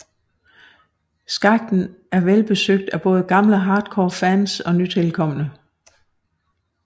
Skakten er velbesøgt af både gamle hardcore fans og nytilkomne